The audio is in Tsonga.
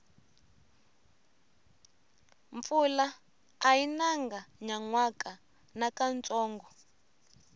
mpfula ayi nanga nyanwaka nakantsongo